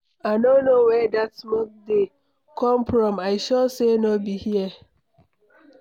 I no know where dat smoke dey come from. I sure say no be here.